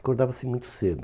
Acordava-se muito cedo.